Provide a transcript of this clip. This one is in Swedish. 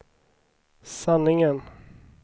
sanningen